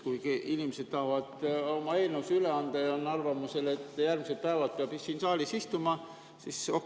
Kui inimesed tahavad oma eelnõusid üle anda ja on arvamusel, et järgmised päevad peab siin saalis istuma, siis okei.